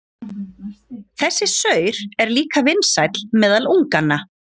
Þessi saur er líka vinsæll meðal unganna.